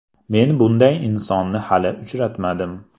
Men bunday insonni hali uchratmadim.